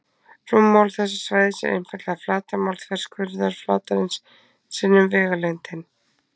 Rúmmál þessa svæðis er einfaldlega flatarmál þverskurðarflatarins sinnum vegalengdin.